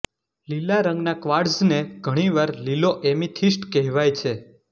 લીલા રંગના ક્વાર્ટ્ઝને ઘણીવાર લીલો એમિથિસ્ટ કહેવાય છે